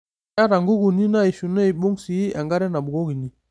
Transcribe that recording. Keata nkukuni naishiu neibung' sii enkare nabukokini.